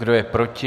Kdo je proti?